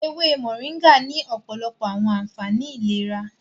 ewé Moringa ní òpòlopo àwọn ànfàní ìlera.